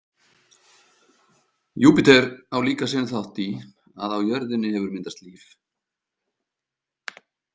Júpíter á líka sinn þátt í að á jörðinni hefur myndast líf.